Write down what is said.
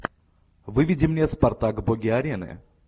выведи мне спартак боги арены